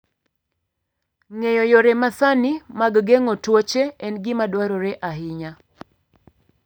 Ng'eyo yore masani mag geng'o tuoche en gima dwarore ahinya.